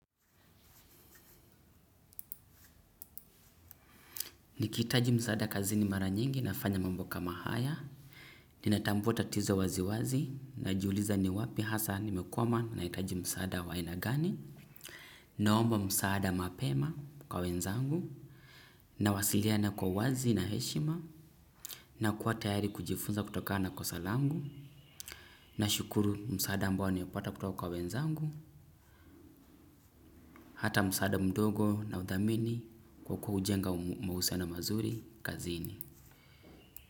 Nikithitaji msaada kazini mara nyingi na fanya mambo kama haya, ninatambua ta tizo wazi wazi, na juuliza ni wapi hasa nimekwama na hitaji msaada wa ainagani, naomba msaada mapema kwa wenzangu, nawasiliana kwa uwazi na heshima, na kuwa tayari kujifunza kutokana kosa langu, na shukuru msaada ambao niopata kutoka kwa wenzangu, hata msaada mdogo nauthamini, kwa kuujenga mahusiano mazuri, kazini.